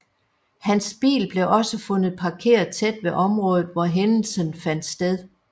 Hans bil blev også fundet parkeret tæt ved området hvor hændelsen fandt sted